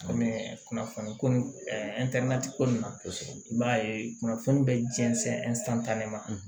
Kɔmi kunnafoni ko ko nin na i b'a ye kunnafoni bɛ jɛnsɛn